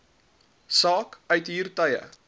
saak uithuur tye